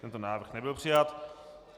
Tento návrh nebyl přijat.